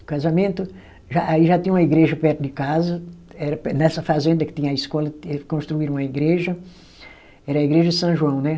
O casamento já, aí já tinha uma igreja perto de casa, era per, nessa fazenda que tinha a escola, eles construíram uma igreja, era a igreja São João, né?